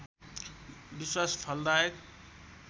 विश्वास फलदायक